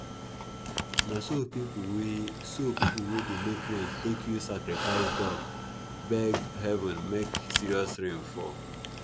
na so pipo wey so pipo wey dey make rain take use sacrifice duck beg heaven make serious rain fall